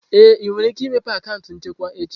Ee, ị nwere ike imepe akaụntụ nchekwa echi.